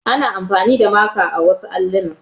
Ana amfani da maka a wasu alluna.